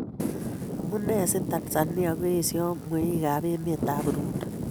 Amune si Tanzania koyesio mweikab emetab Burundi